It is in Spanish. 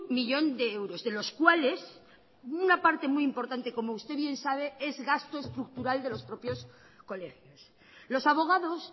millón de euros de los cuales una parte muy importante como usted bien sabe es gasto estructural de los propios colegios los abogados